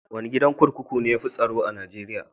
Wane gidan kurkuku ne ya fi tsaro a Najeriya?